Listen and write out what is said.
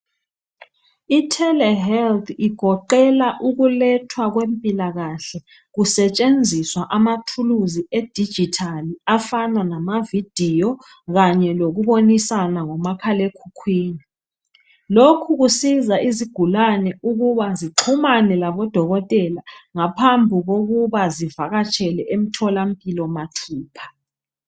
Itele health igoqela ukulethwa kwempilakahle kusetshenziswa am athuluzi edigital afana lama video kanye lokubonisana ngo makhalekhukhwini, lokhu kusiza izigulane ukuba zixhumane labo dokotela zingakavakatsheli emtholampilo mathupha.